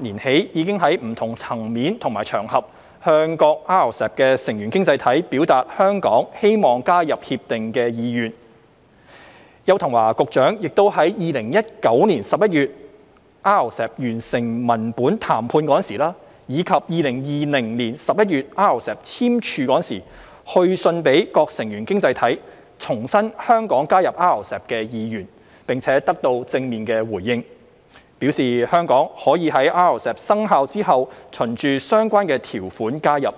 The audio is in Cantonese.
年起已在不同層面和場合向各 RCEP 成員經濟體表達香港希望加入 RCEP 的意願，邱騰華局長亦於2019年11月 RCEP 完成文本談判時，以及2020年11月 RCEP 簽署時，去信各成員經濟體，重申香港加入 RCEP 的意願，並得到正面回應，表示香港可在 RCEP 生效後循相關條款加入。